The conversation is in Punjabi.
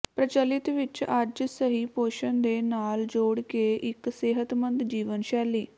ਪ੍ਰਚਲਿਤ ਵਿਚ ਅੱਜ ਸਹੀ ਪੋਸ਼ਣ ਦੇ ਨਾਲ ਜੋੜ ਕੇ ਇੱਕ ਸਿਹਤਮੰਦ ਜੀਵਨ ਸ਼ੈਲੀ